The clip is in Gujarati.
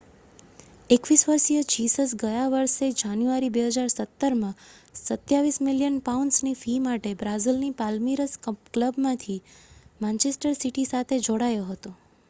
21 વર્ષીય જીસસ ગયા વર્ષે જાન્યુઆરી 2017માં 27 મિલિયન પાઉન્ડની ફી માટે બ્રાઝિલની પાલ્મિરાસ ક્લબમાંથી માન્ચેસ્ટર સિટી સાથે જોડાયો હતો